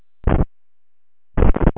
Hvað átti ég að segja Áslaugu?